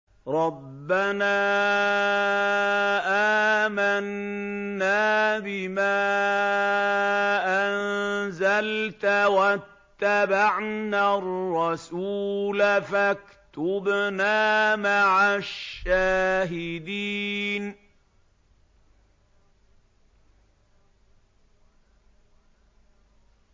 رَبَّنَا آمَنَّا بِمَا أَنزَلْتَ وَاتَّبَعْنَا الرَّسُولَ فَاكْتُبْنَا مَعَ الشَّاهِدِينَ